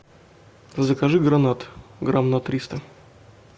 закажи гранат грамм на триста